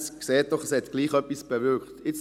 Man sieht doch, dass es etwas bewirkt hat.